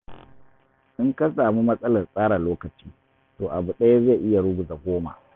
In ka samu matsalar tsara lokaci, to abu ɗaya zai iya ruguza goma.